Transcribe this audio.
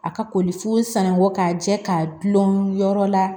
A ka koli fo sanu k'a jɛ k'a dulon yɔrɔ la